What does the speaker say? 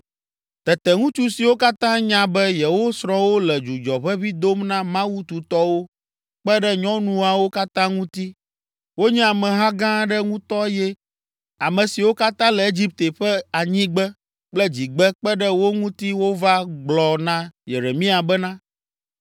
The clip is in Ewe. Tete ŋutsu siwo katã nya be yewo srɔ̃wo le dzudzɔ ʋeʋĩ dom na mawu tutɔwo, kpe ɖe nyɔnuawo katã ŋuti, wonye ameha gã aɖe ŋutɔ eye ame siwo katã le Egipte ƒe anyigbe kple dzigbe kpe ɖe wo ŋuti wova gblɔ na Yeremia bena,